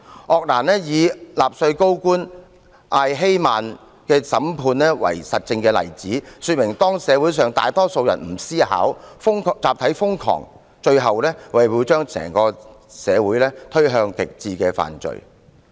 鄂蘭以納粹高官艾希曼的審判為實證案例，說明當社會上大多數人不思考，集體瘋狂，最終會把整個社會推向極致的犯罪。